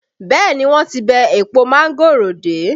Bẹẹ ni, wọ́n ti bẹ́ èpo mángòrò dé